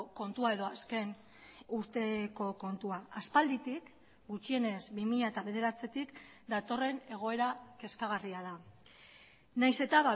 kontua edo azken urteko kontua aspalditik gutxienez bi mila bederatzitik datorren egoera kezkagarria da nahiz eta